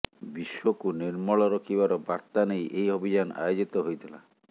ବିଶ୍ବ କୁ ନିର୍ମଳ ରଖିବାର ବାର୍ତା ନେଇ ଏହି ଅଭିଯାନ ଆୟୋଜିତ ହୋଇଥିଲା